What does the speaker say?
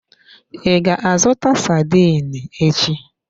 I ga-azụta sardine echi?